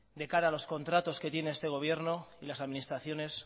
de cara a los contratos que tiene este gobierno y las administraciones